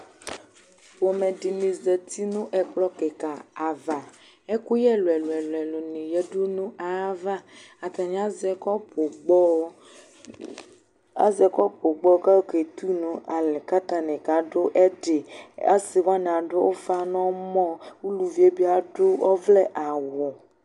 Pomɛdi zati nu ɛkplɔ kika di ava ɛkuyɛ ɛlu ɛlu ya nu ɛkplɔ ava atani azɛ kɔpu gbɔ kayɔ Ketu nalɛ kadu ɛdi asiwani adu ufa nu ɔmɔ eluvi wani bi adu ɔvlɛ awu